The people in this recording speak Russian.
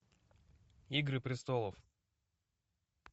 игры престолов